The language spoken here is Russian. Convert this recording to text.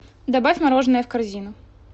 добавь мороженое в корзину